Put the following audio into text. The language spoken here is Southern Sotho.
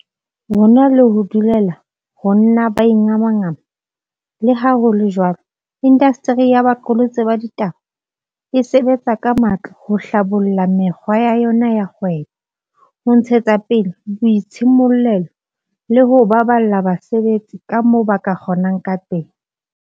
Ho na le ho dulela ho nna ba ingamangama, leha ho le jwalo, indasteri ya boqolotsi ba ditaba e sebetsa ka matla ho hlabolla mekgwa ya yona ya kgwebo, ho ntshetsa pele boitshimollelo le ho baballa basebetsi kamoo ba ka kgo nang ka teng.